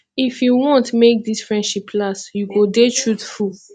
if you want make dis friendship last you go dey truthful